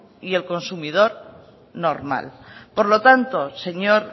y el consumidor normal por lo tanto señor